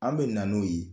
An bɛ na n'o ye